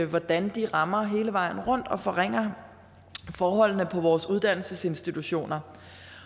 hvordan de rammer hele vejen rundt og forringer forholdene på vores uddannelsesinstitutioner